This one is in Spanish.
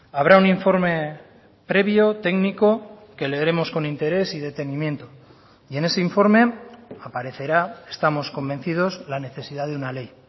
habrá un informe previo técnico que leeremos con interés y detenimiento y en ese informe aparecerá estamos convencidos la necesidad de una ley